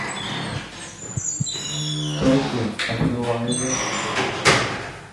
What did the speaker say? тохе абдулаеве